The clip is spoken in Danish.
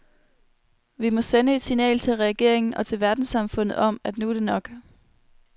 Vi må sende et signal til regeringen og til verdenssamfundet om, at nu er det nok.